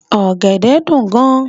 Ògèdè dún gán